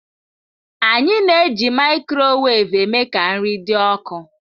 anyị na-eji microwave eme ka nri dị ọkụ.